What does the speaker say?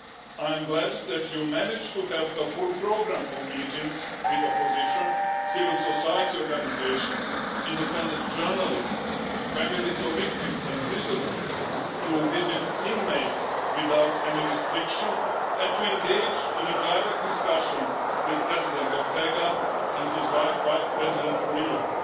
I'm glad that you managed to have a full programme of meetings with the opposition, civil society organisations, independent journalists and families of victims and prisoners to visit inmates without any restriction and to engage in a direct discussion with President Ortega and his wife, President Murillo.